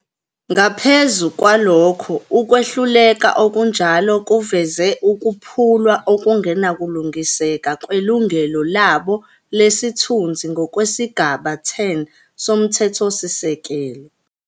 Ngaphezu kwalokho, ukwehluleka okunjalo kuveze ukuphulwa okungenakulungiseka kwelungelo labo lesithunzi ngokwesigaba 10 soMthethosisekelo.